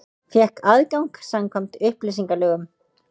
Fékk aðgang samkvæmt upplýsingalögum